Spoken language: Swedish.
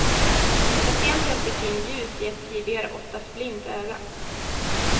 Patienten fick in ljus i ett tidigare oftast blint öga.